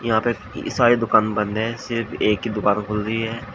जहां पे सारी दुकान बंद है सिर्फ एक ही दुकान खुल रही है।